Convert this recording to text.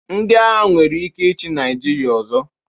Ndị agha nwere ike ịchị Naịjirịa ọzọ.